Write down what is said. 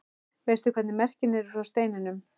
Veistu hvernig merkin eru frá steininum?